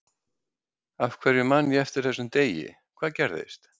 Af hverju man ég eftir þessum degi, hvað gerðist?